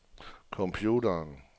computeren